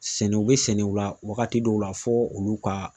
Sɛnɛ u bɛ sɛnɛ u la wagati dɔw la fɔ olu ka